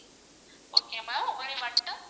okay ma'am உங்களுடைய வட்டம்